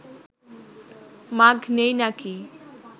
মাগ নেই নাকি